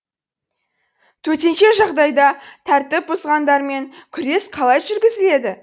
төтенше жағдайда тәртіп бұзғандармен күрес қалай жүргізіледі